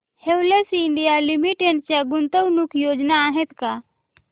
Havells India Limited च्या गुंतवणूक योजना आहेत का